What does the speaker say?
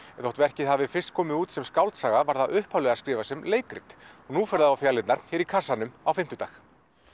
þótt verkið hafi fyrst komið út sem skáldsaga var það upphaflega skrifað sem leikrit nú fer það á fjalirnar hér í kassanum á fimmtudag